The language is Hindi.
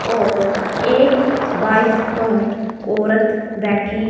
और एक बाइक पर औरत बैठी--